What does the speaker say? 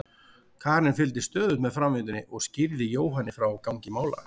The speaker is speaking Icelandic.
Karen fylgdist stöðugt með framvindunni og skýrði Jóhanni frá gangi mála.